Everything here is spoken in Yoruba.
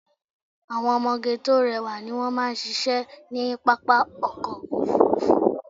Àwọn ọmọge tó rẹwà ni wón máa ṣíṣe ní pápá ọkọ̀ Òfurufú.